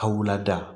Ka wula da